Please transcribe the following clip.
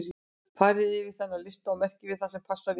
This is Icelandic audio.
Farið yfir þennan lista og merkið við það sem passar við ykkur.